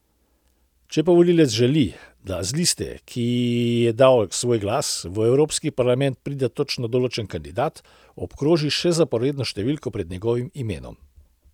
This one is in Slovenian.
Če pa volivec želi, da z liste, ki ji je dal svoj glas, v Evropski parlament pride točno določen kandidat, obkroži še zaporedno številko pred njegovim imenom.